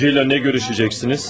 Prokurorla nə görüşəcəksiniz?